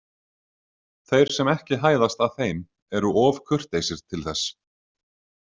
Þeir sem ekki hæðast að þeim eru of kurteisir til þess.